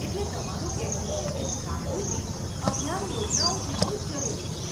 એટલે તમારું કહેવું છે કે જાગૃતિ અભિયાન યોજનાઓ જેટલું જ જરૂરી છે.